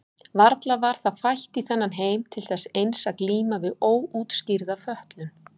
Varla var það fætt í þennan heim til þess eins að glíma við óútskýrða fötlun?